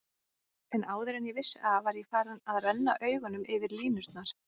En áður en ég vissi af var ég farinn að renna augunum yfir línurnar.